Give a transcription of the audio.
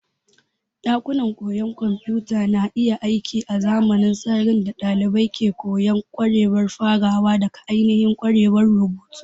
Ɗakunan koyon kwamfuta na iya aiki azaman sararin da ɗalibai ke koyon ƙwarewa farawa daga ainihin ƙwarewar rubutu.